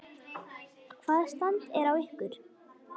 Hvaða stand er á ykkur?